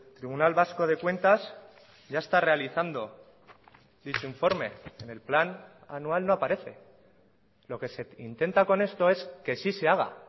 tribunal vasco de cuentas ya está realizando dicho informe en el plan anual no aparece lo que se intenta con esto es que sí se haga